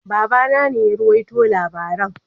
Baba na ne ya ruwaito labaring.